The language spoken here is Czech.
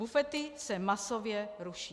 Bufety se masově ruší.